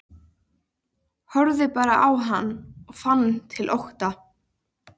Hefurðu heyrt eitthvað um hvernig Sigrún hefur það?